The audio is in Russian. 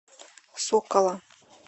сокола